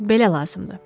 Belə lazımdır.